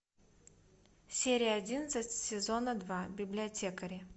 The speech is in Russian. серия одиннадцать сезона два библиотекари